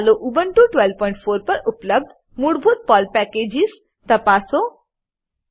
ચાલો ઉબુન્ટુ 1204 પર ઉપલબ્ધ મૂળભૂત પર્લ પેકેજીસ પર્લ પેકેજો તપાસ કરીએ